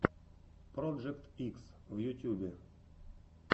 проджект икс в ютюбе